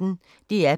DR P1